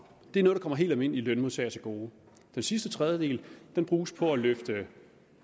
det er noget der kommer helt almindelige lønmodtagere til gode den sidste tredjedel bruges på at løfte